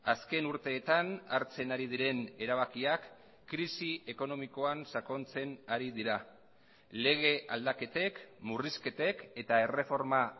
azken urteetan hartzen ari diren erabakiak krisi ekonomikoan sakontzen ari dira lege aldaketek murrizketek eta erreforma